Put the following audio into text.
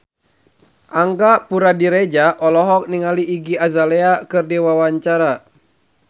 Angga Puradiredja olohok ningali Iggy Azalea keur diwawancara